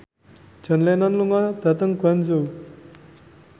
John Lennon lunga dhateng Guangzhou